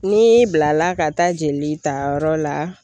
N'i bilala ka taa jeli tayɔrɔ la